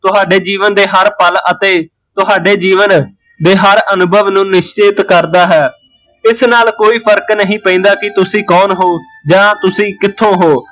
ਤੁਹਾਡੇ ਜੀਵਨ ਦੇ ਹਰ ਪਲ ਅਤੇ ਤੁਹਾਡੇ ਜੀਵਨ ਦੇ ਹਰ ਅਨੁਭਵ ਨੂੰ ਨਿਸ਼ਿਚਤ ਕਰਦਾ ਹੈ ਇਸ ਨਾਲ਼ ਕੋਈ ਫਰਕ ਨਹੀਂ ਪੈਂਦਾ ਕੀ ਤੁਸੀਂ ਕੋਣ ਹੋ ਜਾਂ ਤੁਸੀਂ ਕਿਥੋਂ ਹੋ